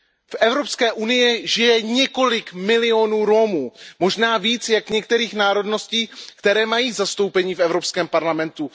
V Evropské unii žije několik milionů Romů, možná víc než některých národností, které mají zastoupení v Evropském parlamentu.